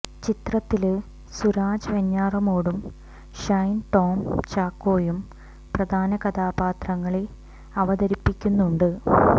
ചിത്രത്തില് സുരാജ് വെഞ്ഞാറമ്മൂടും ഷൈന് ടോം ചാക്കോയും പ്രധാന കഥാപാത്രങ്ങളെ അവതരിപ്പിക്കുന്നുണ്ട്